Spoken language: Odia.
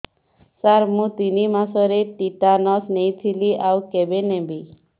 ସାର ମୁ ତିନି ମାସରେ ଟିଟାନସ ନେଇଥିଲି ଆଉ କେବେ ନେବି